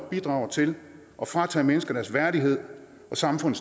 bidrager til at fratage mennesker deres værdighed og samfundet